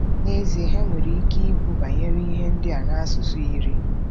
N'ezie, ha nwere ike ikwu banyere ihe ndị a n'asụsụ iri.